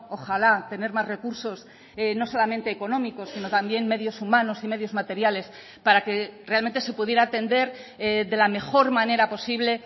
ojalá tener más recursos no solamente económicos sino también medios humanos y medios materiales para que realmente se pudiera atender de la mejor manera posible